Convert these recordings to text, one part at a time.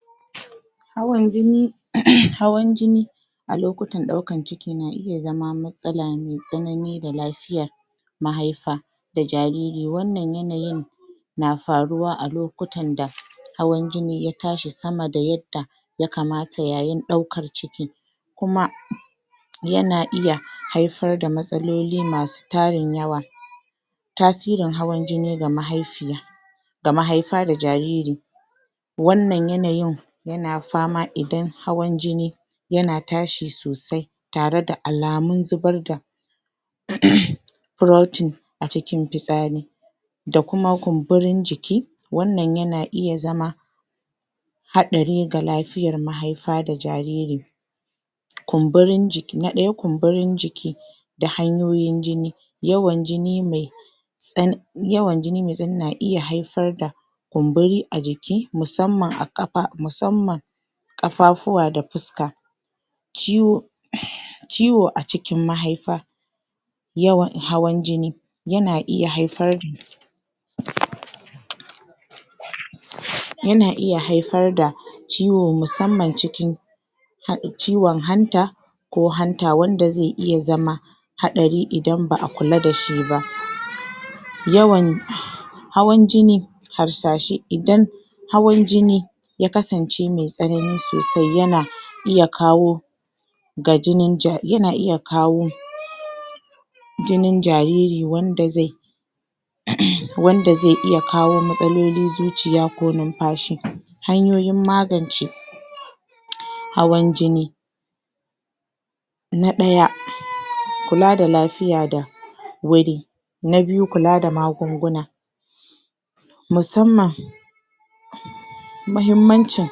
High blood pressure, high blood pressure Hawan jini, hawan jini a lokutan daukan ciki na iya zama matsala mai tsanani da lafiayar a lokutan daukan ciki na iya zama matsala mai tsanani da lafiya mahaifa da jariri. Wannan yanayin na faruwa a lokutan da hawan jini ya tashi sama da yadda ya kamata, yayin daukar ciki. Kuma, yana iya haifar da matsaloli masu tarin yawa. Tasirin hawan jini ga mahaifiya Tasirin hawan jini ga mahaifiya, ga mahaifa da jariri. ga mahaifa da jariri Wannan yanayin yana fama idan hawan jini yana tashi sosai tare da alamun zubar da frotin a cikin fitsari da kuma kumburin jiki. Wannan yana iya zama hatsari ga lafiyar mahaifa da jaririn. Kumburin jiki, na daya kumburin ciki, da hanyoyin jini. Yawan jini mai tsan- yawan jini mai tsanani na iya haifar da kumburi a jiki, mutsamman a kafa, mutsamman kafafuwa da fuska. Ciwo- ciwo a cikin mahaifa yawan hawan jini yana iya haifar yana iya haifar da ciwo, mutsammar cikin han- ciwon hanta, ko hanta wanda zai iya zama hatsari idan ba kula da shi ba. Yawan hawan jini, harsashe, idan hawan jini ya kasance mai tsanani sosai, yana iya kawo, ga jinin jar-yana iya kawo jinin jariri wanda zai wanda zai iya kawo matsalolin zuciya ko numfashi. Hanyoyin magance hawan jini: hawan jini na daya... kula da lafiya da wuri. Na biyu kula da magunguna mutsamman muhimmancin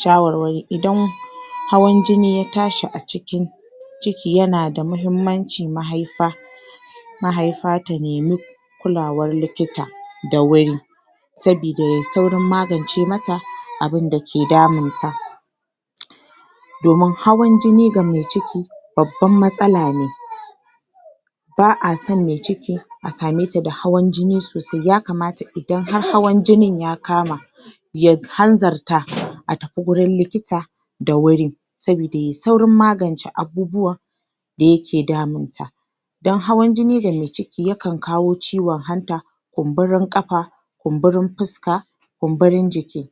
shawarwari. Idan hawan jini ya tashi a cikin ciki, yana da muhimmacin mahaifa, mahaifa ta nemi kulawar likita da wuri saboda yayi saurin magance mata abun da ke damun ta. Domin hawan jini ga mai ciki babban matsala ne Ba a son mai ciki, a same ta da hawan jini sosai. Ya kamata idan har hawan jini ya kama, ya hanzarta a tafi wurin likita da wuri saboda yayi saurin magance abubuwan da yake damun ta. Don hawan jini ga mai ciki yakan kawo ciwon hanta kumburin kafa, kumburin fuska kumburin jiki.